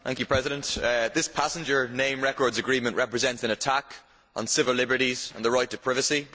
Mr President, this passenger name records agreement represents an attack on civil liberties and the right to privacy.